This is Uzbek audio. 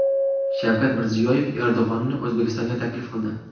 Shavkat Mirziyoyev Erdo‘g‘onni O‘zbekistonga taklif qildi .